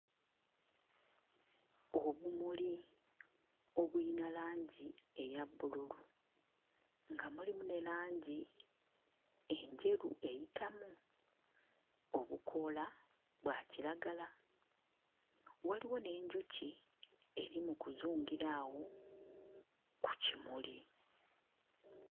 Obumuli obulina langi eya bbululu, nga mulimu ne langi enjeru eyitamu; obukoola bwa kiragala. Waliwo n'enjuki eri mu kuzungira awo ku kimuli.